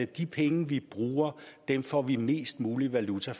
de penge vi bruger får vi mest mulig valuta